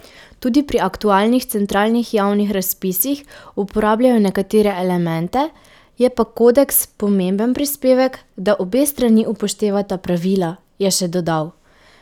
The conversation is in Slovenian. Tudi pri aktualnih centralnih javnih razpisih uporabljajo nekatere elemente, je pa kodeks pomemben prispevek, da obe strani upoštevata pravila, je še dodal.